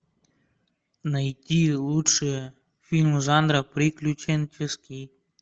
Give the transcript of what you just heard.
найти лучшие фильмы жанра приключенческий